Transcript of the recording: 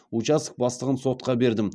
участок бастығын сотқа бердім